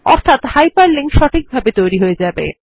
অর্থাৎ hyperlink সঠিকভাবে তৈরী হয়ে যাবে